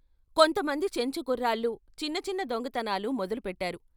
కొంత మంది చెంచు కుర్రాళ్ళు చిన్న చిన్న దొంగతనాలు మొదలు పెట్టారు.